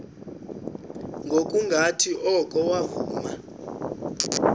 ngokungathi oko wavuma